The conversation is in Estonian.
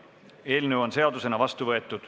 Eelnõu on seadusena vastu võetud.